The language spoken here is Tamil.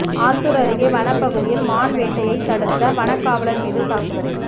ஆத்தூர் அருகே வனப்பகுதியில் மான் வேட்டையை தடுத்த வனக்காவலர் மீது தாக்குதல்